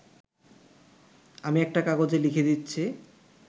আমি একটা কাগজে লিখে দিচ্ছি